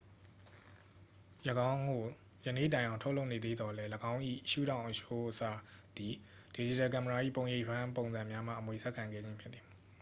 ၎င်းကို ယနေ့တိုင်အောင် ထုတ်လုပ်နေသေးသော်လည်း ၎င်း၏ ရှုထောင့်အချိုးအစားသည် ဒစ်ဂျစ်တယ်ကင်မရာ၏ ပုံရိပ်ဖမ်း ပုံံစံများမှ အမွေဆက်ခံခဲ့ခြင်းဖြစ်သည်